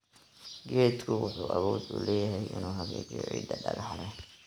Geedku wuxuu awood u leeyahay inuu hagaajiyo ciidda dhagaxa leh.